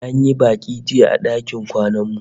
An yi baki jiya a dakin kwanan mu